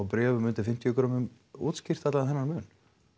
bréfum undir fimmtíu greinar útskýrt allan þennan mun